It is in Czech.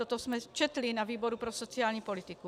Toto jsme četli ve výboru pro sociální politiku.